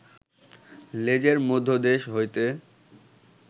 লেজের মধ্যদেশ হইতে